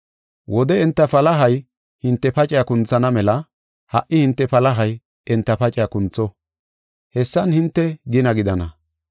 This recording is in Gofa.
Wode enta palahay hinte pacaa kunthana mela, ha77i hinte palahay enta pacaa kuntho. Hessan hinte gina gidana.